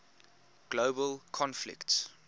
global conflicts